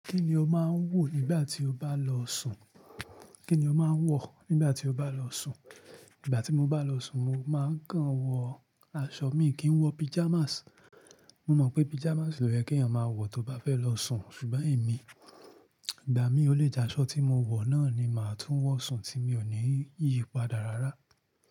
Kí ni o máa ń wọ̀ nígbà tí o bá lọ sùn? Kí ni o máa ń wọ̀ nígbà tí o bá lọ sùn? Nígbà tí mo bá lọ sùn, mo máa ń kàn wọ aṣọ, mi kì í wọ pajamas. Mo mọ̀ pé pajamas lò yẹ́ kí ènìyàn máa wọ̀ tó bá fẹ́ lọ sùn, ṣùgbọ́n èmi, ìgbà mi ó lè jẹ́ aṣọ tí mo wọ̀ náà ni màá tún wọ̀ sùn tí mi ò ní yípadà rárá.